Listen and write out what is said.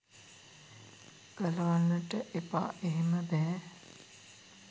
ගලවන්ට එපා." එහෙම බැහැ.